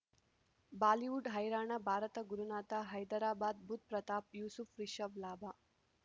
Bollywood ಹೈರಾಣ ಭಾರತ ಗುರುನಾಥ ಹೈದರಾಬಾದ್ ಬುಧ್ ಪ್ರತಾಪ್ ಯೂಸುಫ್ ರಿಷಬ್ ಲಾಭ